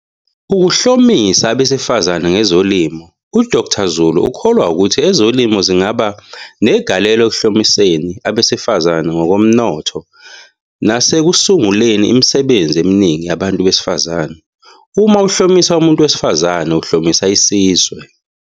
Ukuhlomisa abesifazane ngezolimo. U-Dkt Zulu ukholwa ukuthi ezolimo zingaba negalelo ekuhlomiseni abesifazane ngokomnotho nasekusunguleni imisebenzi eminingi yabantu besifazane. "Uma uhlomisa umuntu wesifazane, uhlomisa isizwe."